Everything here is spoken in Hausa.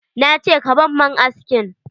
Na ce ka ban man askin!